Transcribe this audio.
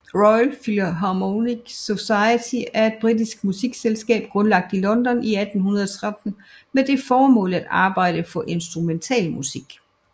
Royal Philharmonic Society er et britisk musikselskab grundlagt i London 1813 med det formål at arbejde for instrumentalmusik